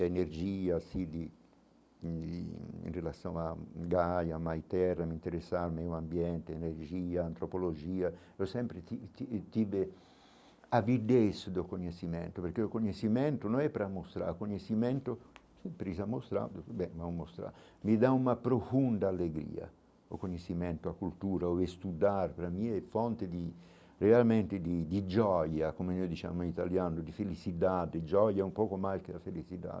a energia, assim de de, em relação a, me interessa o meio ambiente, a energia, a antropologia, eu sempre tive avidez do conhecimento, porque o conhecimento não é para mostrar, o conhecimento sim precisa mostrar muito bem, não é para mostrar, me dá uma profunda alegria, o conhecimento, a cultura, o estudar para mim é fonte de, realmente, de de, como a gente chama no italiano, de felicidade, de um pouco mais que a felicidade.